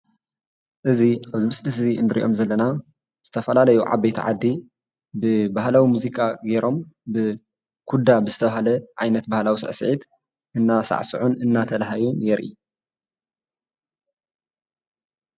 እዚ ኣብዚ ምስሊ እዙይ እንሪኦም ዘለና ዝተፈላለዮ ዓበይቲ ዓዲ ብባህላዊ ሙዚቃ ገይሮም ብኩዳ ብዝተባሃለ ባህላዊ ስዕስዒት እናሳዕስዑን እንዳተላሃዩን የርኢ።